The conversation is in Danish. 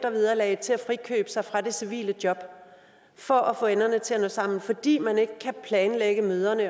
vederlaget til at frikøbe sig fra det civile job for at få enderne til at nå sammen fordi man ikke kan planlægge møderne